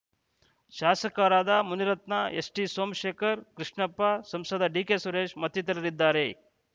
ಶಾಸಕರಾದ ಮುನಿರತ್ನ ಎಸ್‌ಟಿಸೋಮಶೇಖರ್‌ ಕೃಷ್ಣಪ್ಪ ಸಂಸದ ಡಿಕೆಸುರೇಶ್‌ ಮತ್ತಿತರರಿದ್ದಾರೆ